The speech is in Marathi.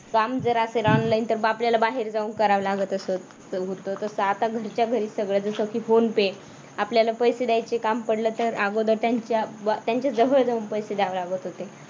काम जर असेल online तर मग आपल्याला बाहेर जाऊन करावी लागत असत तर आता घरच्या घरी सगळ जसं की phone pay आपल्याला पैसे द्यायच काम पडल तर अगोदर त्यांच्या त्यांच्याजवळ जाऊन पैसे द्यावे लागत होते.